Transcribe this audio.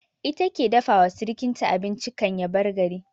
Ita ke dafa wa sirkinta abinci kan ya bar gari